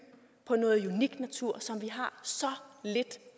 på noget unik natur som vi har så lidt